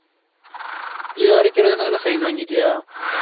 இது வரைக்கும் எழுதுனது எல்லாம் sign வாங்கிட்டியா